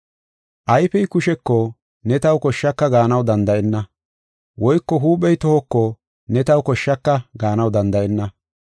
Ayfey kusheko, “Ne taw koshshaka” gaanaw danda7enna. Woyko huuphey tohoko, “Ne taw koshshaka” gaanaw danda7enna.